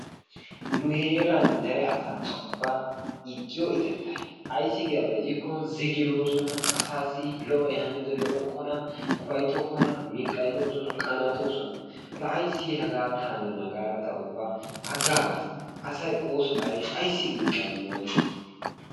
Nu heeran asaa ubba ta ixxiyo ixxetay ayssi giyaaba gidikko ziggiroosona, asassi lo''oy haniyoode lo''okkona, upayttokona, miqaynoosona, qanattoosona. la ayssi hegatan haniyoona gaada ta ubba agagaas, asay ooso xayyidi ayssi miqqayni?